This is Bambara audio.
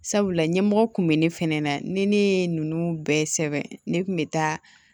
Sabula ɲɛmɔgɔ kun bɛ ne fɛnɛ na ni ne ye ninnu bɛɛ sɛbɛn ne kun bɛ taa